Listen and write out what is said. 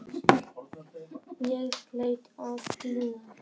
Ég leit á Stínu.